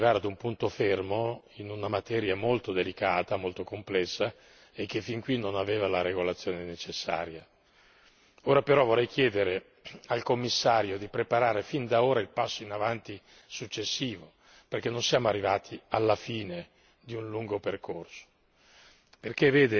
perché ci hanno consentito di arrivare ad un punto fermo in una materia molto delicata, molto complessa e che fin qui non aveva la regolazione necessaria. Ora però vorrei chiedere al Commissario di preparare fin da ora il passo in avanti successivo, perché non siamo arrivati alla fine di un lungo percorso.